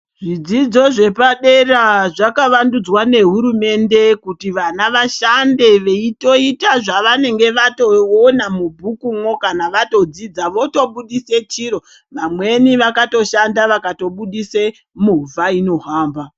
Zvidzidzo zvepadera zvakavandudzwa nehurumende kuti vana vashande veitoita zvavanenge vatoona mubhukumwo kana vatodzidza votobuditse chiro vamweni vakatoshanda vakatobuditsa movha inohamba.